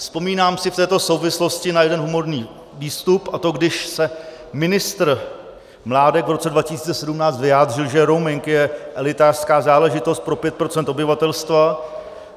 Vzpomínám si v této souvislosti na jeden humorný výstup, a to když se ministr Mládek v roce 2017 vyjádřil, že rooming je elitářská záležitost pro 5 % obyvatelstva.